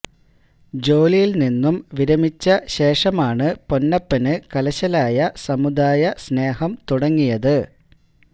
ജോലിയില് നിന്നും വിരമിച്ച ശേഷമാണ് പൊന്നപ്പന് കലശലായ സമുദായ സ്നേഹം തുടങ്ങിയത്